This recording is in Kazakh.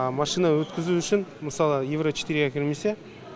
машина өткізу үшін мысалы евро четыре ға кірмесе